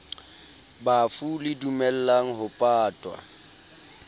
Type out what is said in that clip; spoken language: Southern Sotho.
bafu le dumellang ho patwa